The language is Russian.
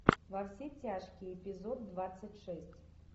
во все тяжкие эпизод двадцать шесть